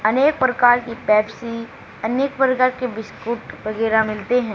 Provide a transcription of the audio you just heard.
अनेक प्रकार की पेप्सी अनेक प्रकार के बिस्कुट वगैराह मिलते हैं।